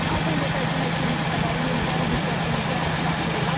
Az öncə təqdim etdiyimiz xəbəri yenidən diqqətinizə çatdırıram.